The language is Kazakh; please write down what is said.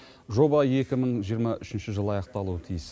жоба екі мың жиырма үшінші жылы аяқталуы тиіс